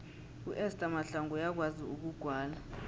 uester mahlangu uyakwazi ukugwala